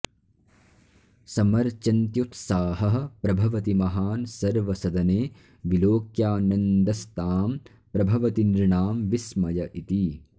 समर्चन्त्युत्साहः प्रभवति महान् सर्व सदने विलोक्यानन्दस्ताम् प्रभवति नृणां विस्मय इति